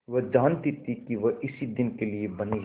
वह जानती थी कि वह इसी दिन के लिए बनी है